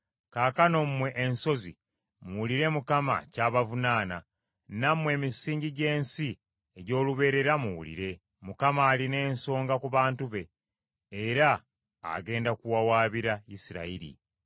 “Kaakano mmwe ensozi muwulire Mukama ky’abavunaana; nammwe emisingi gy’ensi egy’olubeerera muwulire. Mukama alina ensonga ku bantu be era agenda kuwawabira Isirayiri.